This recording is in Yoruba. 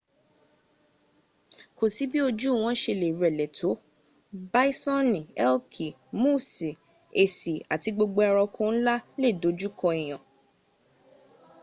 ko si bi oju won se le rele to bisoni elki moosi esi ati gbogbo eranko nla le doju ko en